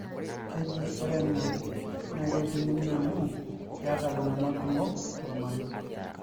keji ore ina naa kejung'uni amu keeta iltunganak kumok tolmarei